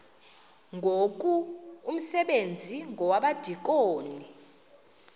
ngoku umsebenzi wabadikoni